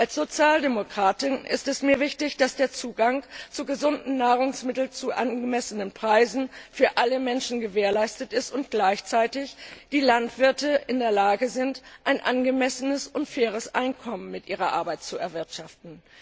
Als Sozialdemokratin ist es mir wichtig, dass der Zugang zu gesunden Nahrungsmitteln zu angemessenen Preisen für alle Menschen gewährleistet ist und gleichzeitig die Landwirte in der Lage sind, ein angemessenes und faires Einkommen mit ihrer Arbeit zu erwirtschaften.